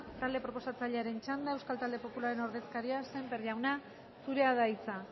talde proposatzailearen txanda euskal talde popularraren ordezkaria sémper jauna zurea da hitza